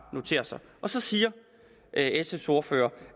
notere sig så siger sfs ordfører